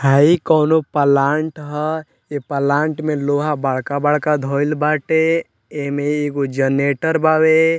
हइ कोनो प्लांट हए ए प्लांट में लोहा बड़का-बड़का धएल बाटे एमे एगो जनरेटर बावे।